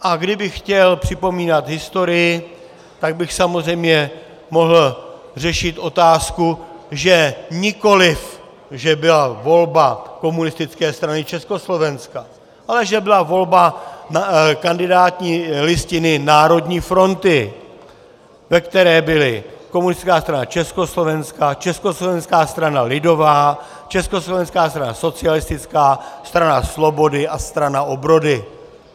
A kdybych chtěl připomínat historii, tak bych samozřejmě mohl řešit otázku, že nikoliv že byla volba Komunistické strany Československa, ale že byla volba kandidátní listiny Národní fronty, ve které byly Komunistická strana Československa, Československá strana lidová, Československá strana socialistická, Strana slobody a Strana obrody.